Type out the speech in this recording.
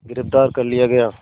गिरफ़्तार कर लिया गया